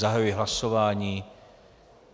Zahajuji hlasování.